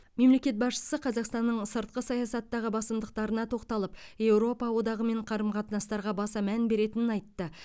мемлекет басшысы қазақстанның сыртқы саясаттағы басымдықтарына тоқталып еуропа одағымен қарым қатынастарға баса мән беретінін айтты